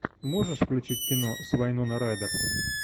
можешь включить кино с вайноной райдер